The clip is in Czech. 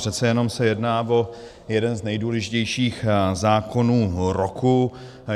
Přece jenom se jedná o jeden z nejdůležitějších zákonů roku.